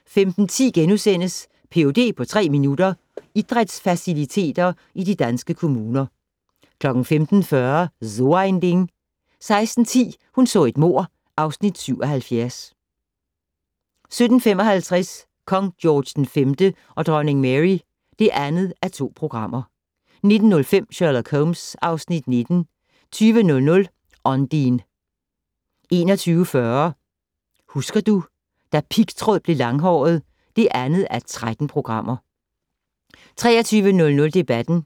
* 15:10: Ph.d. på tre minutter: Idrætsfaciliteter i de danske kommuner * 15:40: So ein Ding 16:10: Hun så et mord (Afs. 77) 17:55: Kong George V og dronning Mary (2:2) 19:05: Sherlock Holmes (Afs. 19) 20:00: Ondine 21:40: Husker du - da pigtråd blev langhåret (2:13) 23:00: Debatten